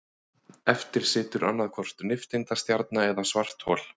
Eftir situr annaðhvort nifteindastjarna eða svarthol.